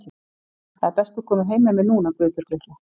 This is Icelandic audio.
Það er best þú komir heim með mér núna, Guðbjörg litla.